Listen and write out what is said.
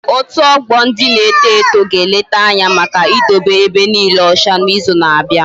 Otu ogbo ndị na-eto eto ga eleta Anya Maka idobe ebe niike ocha na izu na abia